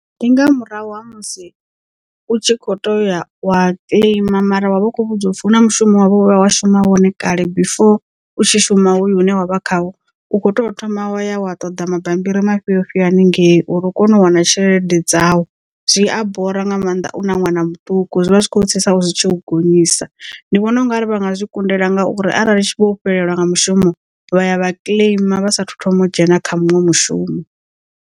Ndi nga murahu ha musi u tshi kho to ya wa kiḽeima mara wa vha u kho vhudzwa upfhi hu na mushumo wa vhuya wa shuma wone kale before u tshi shuma hoyu une wa vha khawo u kho to thoma wa ya wa ṱoḓa mabambiri mafhio ofhi haningei uri u kone u wana tshelede dzau zwi a bora nga maanḓa u na ṅwana muṱuku zwivha zwi kho u tsitsa zwitshi u gonyisa ndi vhona ungari vhanga zwi kundela ngauri arali vho fhelelwa nga mushumo vha ya vha kiḽeima vha sa thu thoma u dzhena kha muṅwe mushumo.